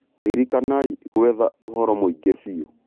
Ririkanai gwetha ũhoro mũingĩ biũ.